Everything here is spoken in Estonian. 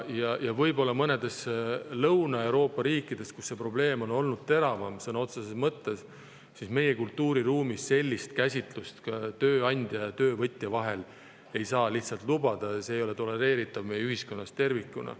See võib olla nii mõnes Lõuna-Euroopa riigis, kus see probleem on olnud sõna otseses mõttes teravam, kuid meie kultuuriruumis sellist käsitlust tööandja ja töövõtja vahel ei saa lihtsalt lubada, see ei ole tolereeritav meie ühiskonnas tervikuna.